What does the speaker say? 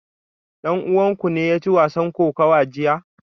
Dan uwanku ne ya ci wasan kokawa jiya?